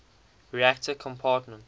reactor compartment